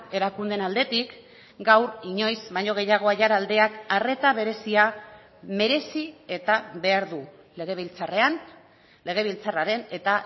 erakundeen aldetik gaur inoiz baino gehiago aiaraldeak arreta berezia merezi eta behar du legebiltzarrean legebiltzarraren eta